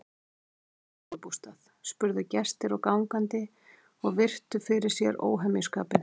Ertu að smíða sumarbústað? spurðu gestir og gangandi og virtu fyrir sér óhemjuskapinn.